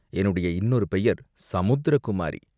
என்னுடைய இன்னொரு பெயர் சமுத்திரகுமாரி.